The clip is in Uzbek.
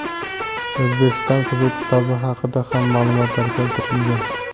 O‘zbekiston qizil kitobi haqida ham maʼlumotlar keltirilgan.